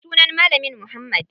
Sunan malamin muhammad.